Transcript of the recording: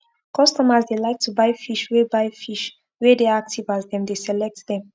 customers dey like to buy fish wey buy fish wey dey active as them dey select them